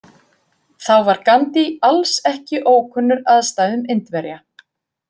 Þá var Gandhi alls ekki ókunnur aðstæðum Indverja.